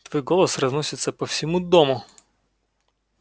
твой голос разносится по всему дому